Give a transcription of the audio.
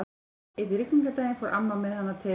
Einn rigningardaginn fór amma með hana til